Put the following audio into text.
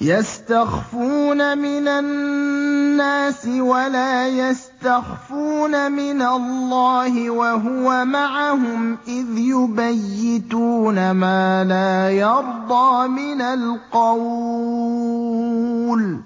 يَسْتَخْفُونَ مِنَ النَّاسِ وَلَا يَسْتَخْفُونَ مِنَ اللَّهِ وَهُوَ مَعَهُمْ إِذْ يُبَيِّتُونَ مَا لَا يَرْضَىٰ مِنَ الْقَوْلِ ۚ